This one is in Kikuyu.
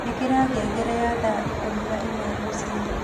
ĩkĩra ngengere ya thaa ĩkũmĩ na ĩmwe rũciini